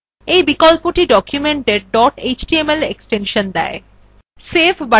এই বিকল্পটি documentএর dot html এক্সটেনশন দেয়